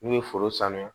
N'u ye foro sanuya